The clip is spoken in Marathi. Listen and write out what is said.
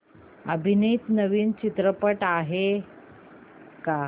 अभिनीत नवीन चित्रपट आहे का